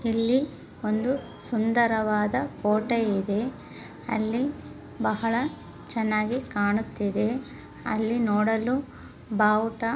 ಇಲ್ಲಿ ಒಂದು ಸುಂದರವಾದ ಕೋಟೆ ಇದೆ ಅಲ್ಲಿ ಬಹಳ ಚನ್ನಾಗಿ ಕಾಣುತ್ತಿದೆ ಅಲ್ಲಿ ನೋಡಲು ಬಾವುಟ